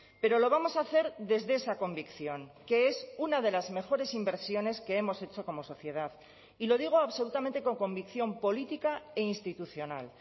pero lo vamos a hacer desde esa convicción que es una de las mejores inversiones que hemos hecho como sociedad y lo digo absolutamente con convicción política e institucional